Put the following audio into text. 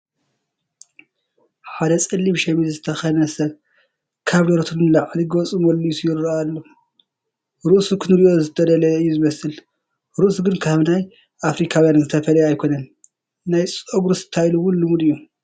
ሓደ ፀሊም ሸሚዝ ዝተኸደነ ሰብ ካብ ደረቱ ንላዕሊ ገፁ መሊሱ ይርአ ኣሎ፡፡ ርእሱ ክንርእዮ ዝተደለየ እዩ ዝመስል፡፡ ርእሱ ግን ካብ ናይ ኣፍሪካውያን ዝተፈለየ ኣይኮነንን፡፡ ናይ ጨጉሩ ታይል እውን ልሙድ እዩ፡፡